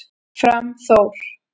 Fram Þór